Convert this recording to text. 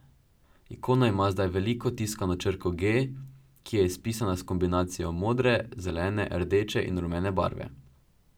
Ikona ima zdaj veliko tiskano črko G, ki je izpisana s kombinacijo modre, zelene, rdeče in rumene barve.